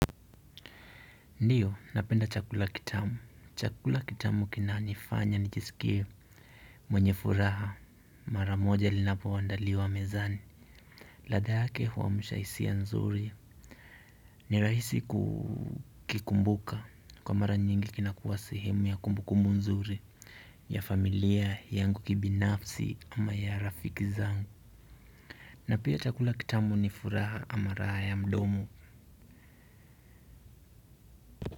Ndiyo napenda chakula kitamu. Chakula kitamu kinanifanya nijisikie mwenye furaha mara moja linapoandaliwa mezani. Ladha yake huamsha hisia nzuri ni rahisi kukumbuka kwa mara nyingi kinakuwa sehemu ya kumbukumu nzuri ya familia yangu kibinafsi ama ya rafiki zangu. Na pia chakula kitamu ni furaha ama raha ya mdomo.